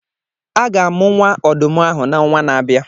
A ga-amụ nwa ọdụm ahụ n'onwa na-abịa.